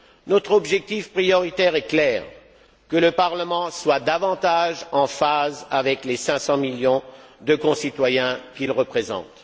Notre objectif prioritaire est clair que le Parlement soit davantage en phase avec les 500 millions de concitoyens qu'il représente.